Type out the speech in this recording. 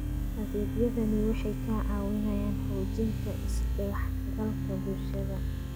Adeegyadani waxay caawiyaan xoojinta is-dhexgalka bulshada.